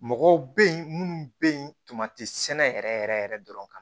Mɔgɔw bɛ yen minnu bɛ yen ntomati sɛnɛ yɛrɛ yɛrɛ yɛrɛ dɔrɔn kan